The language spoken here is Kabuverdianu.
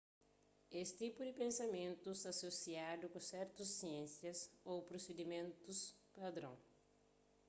es tipu di pensamentu sta asosiadu ku sertus siénsias ô prosedimentus padron